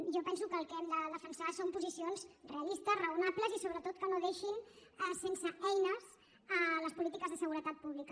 jo penso que el que hem de defensar són posicions realistes raonables i sobretot que no deixin sense eines les polítiques de seguretat pública